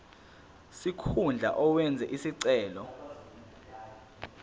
sikhundla owenze isicelo